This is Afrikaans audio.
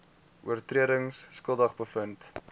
oortredings skuldig bevind